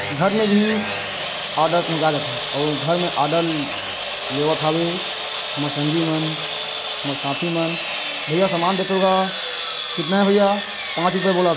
घर मे भी ऑर्डर पहुचाय जाथे अउ घर मे ऑर्डर लेवत आवे हमर संगी मन हमर साथी मन भईया सामान देतो किगा तना हे भईया पाँच रुपूए बोलत--